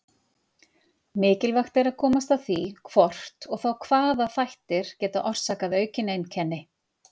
Mikilvægt er að komast að því hvort og þá hvaða þættir geta orsakað aukin einkenni.